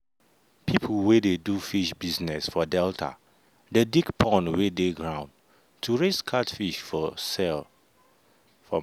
people wey dey do fish business for delta dey dig pond wey dey ground to raise catfish for sale.